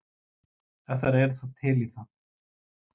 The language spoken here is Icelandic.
Ef þær eru þá til í það.